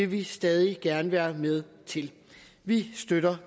vi stadig gerne være med til vi støtter